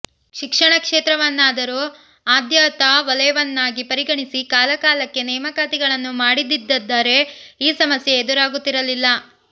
ಶಿಕ್ಷಣ ಕ್ಷೇತ್ರವನ್ನಾದರೂ ಆದ್ಯತಾ ವಲಯವನ್ನಾಗಿ ಪರಿಗಣಿಸಿ ಕಾಲಕಾಲಕ್ಕೆ ನೇಮಕಾತಿಗಳನ್ನು ಮಾಡಿದ್ದಿದ್ದರೆ ಈ ಸಮಸ್ಯೆ ಎದುರಾಗುತ್ತಿರಲಿಲ್ಲ